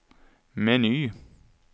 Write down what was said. meny